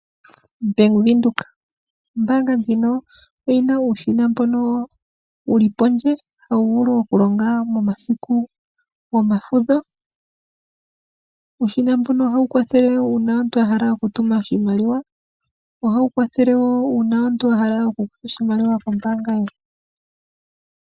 Bank Windhoek Ombaanga ndjino oyina uushina mbono wuli pondje, hawu vulu okulonga momasiku gomafudho . Uushina mbuno ohawu kwathele uuna omuntu ahala oshimaliwa. Ohawu kwathele wo uuna omuntu wahala okukutha oshimaliwa kombaanga.